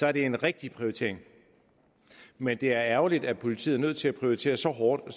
er det en rigtig prioritering men det er ærgerligt at politiet er nødt til at prioritere så hårdt at